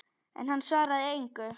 En hann svaraði engu.